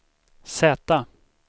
Z